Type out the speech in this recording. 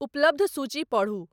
उपलब्ध सूची पढ़ू।